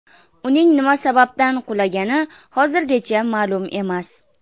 Uning nima sababdan qulagani hozircha ma’lum emas.